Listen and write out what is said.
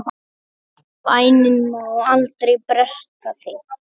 Bænin má aldrei bresta þig!